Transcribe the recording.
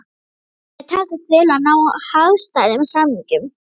Mér þótti mér takast vel að ná hagstæðum samningum!